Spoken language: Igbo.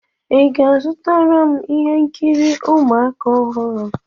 Ị ga-azụtara m ihe nkiri ụmụaka ọhụrụ?